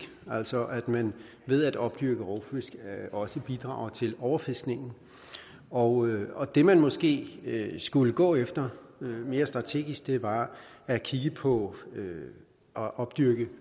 altså at man ved at opdyrke rovfisk også bidrager til overfiskningen og og det man måske skulle gå efter mere strategisk var at kigge på at opdyrke